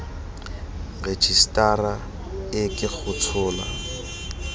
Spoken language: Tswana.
rejisetara e ke go tshola